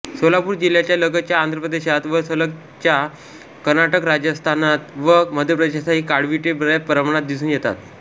सोलापूर जिल्ह्याच्या लगतच्या आंध्रप्रदेशात व लगतच्या कर्नाटकात राजस्थानातन व मध्यप्रदेशातही काळविटे बऱ्याच प्रमाणात दिसून येतात